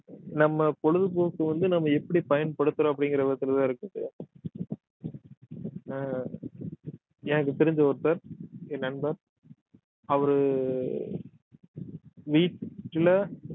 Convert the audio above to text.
நம்ம பொழுதுபோக்கு வந்து நம்ம எப்படி பயன்படுத்துறோம் அப்படிங்கிற விதத்துலதான் இருக்குது ஆஹ் எனக்கு தெரிஞ்ச ஒருத்தர் என் நண்பர் அவரு வீட்டுல